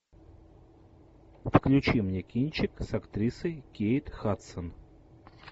включи мне кинчик с актрисой кейт хадсон